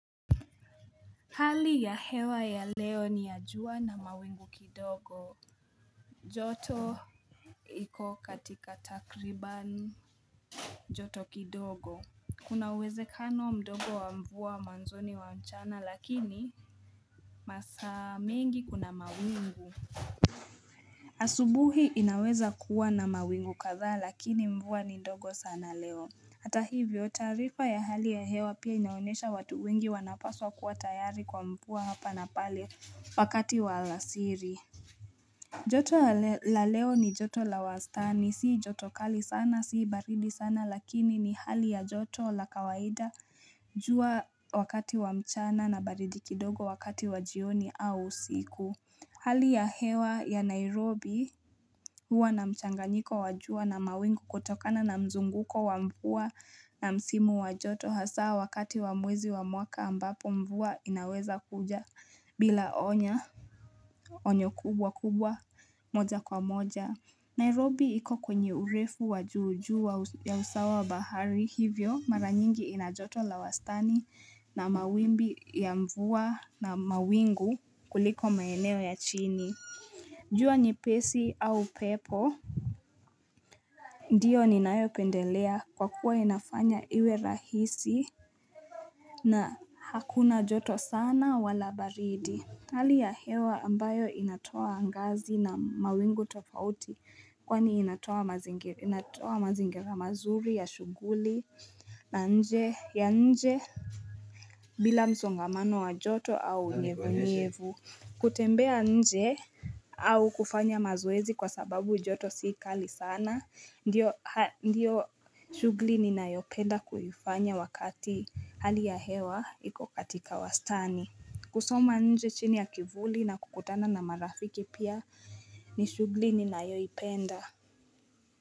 Hali ya hewa ya leo ni ya jua na mawingu kidogo joto iko katika takriban joto kidogo Kuna uwezekano mdogo wa mvua mwanzoni wa mchana lakini masaa mengi kuna mawingu asubuhi inaweza kuwa na mawingu kadhaa lakini mvua ni ndogo sana leo Hata hivyo taarifa ya hali ya hewa pia inaonyesha watu wengi wanapaswa kuwa tayari kwa mvua hapa na pale wakati wa alasiri. Joto la leo ni joto la wastani. Sii joto kali sana, sii baridi sana lakini ni hali ya joto la kawaida jua wakati wa mchana na baridi kidogo wakati wa jioni au usiku. Hali ya hewa ya Nairobi huwa na mchanganyiko wa jua na mawingu kutokana na mzunguko wa mvua na msimu wa joto hasa wakati wa mwezi wa mwaka ambapo mvua inaweza kuja bila onya onyo kubwa kubwa moja kwa moja. Nairobi iko kwenye urefu wa juu juu ya usawa bahari hivyo mara nyingi ina joto la wastani na mawimbi ya mvua na mawingu kuliko maeneo ya chini. Jua ni pesi au pepo. Ndiyo ninayopendelea kwa kuwa inafanya iwe rahisi na hakuna joto sana wala baridi. Hali ya hewa ambayo inatoa angazi na mawingu tofauti kwani inatoa mazingira mazuri ya shughuli na nje ya nje bila msongamano wa joto au unyevunyevu.kutembea nje au kufanya mazoezi kwa sababu joto si kali sana ndiyo shughuli ninayopenda kuifanya wakati hali ya hewa iko katika wastani. Kusoma nje chini ya kivuli na kukutana na marafiki pia ni shughuli ninayoipenda.